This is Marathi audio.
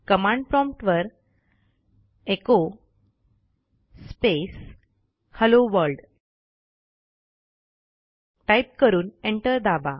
कमांड प्रॉम्प्ट वरecho स्पेस हेल्लो वर्ल्ड टाईप करून एंटर दाबा